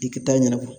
I tɛ taa ɲɛnabɔ